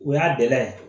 O y'a gɛlɛya ye